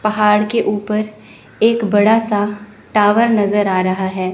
पहाड़ के ऊपर एक बड़ा सा टावर नज़र आ रहा है।